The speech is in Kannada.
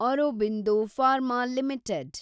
Aurobindo Pharma limited